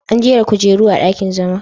An jera kujeru a dakin zama.